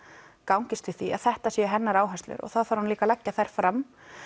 gangist við því að þetta séu hennar áherslur og þá þarf hún líka að leggja þær fram